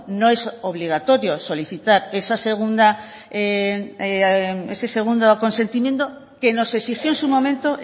no es obligatorio solicitar ese segundo consentimiento que nos exigió en su momento